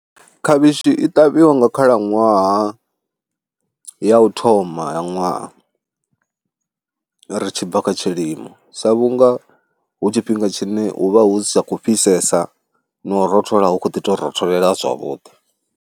Khavhishi i ṱavhiwa nga khalaṅwaha ya u thoma ya ṅwaha ri tshi bva kha tshilimo, sa vhunga hu tshifhinga tshine hu vha hu sa khou fhisesa na u rothola hu khou ḓi tou rotholela zwavhuḓi.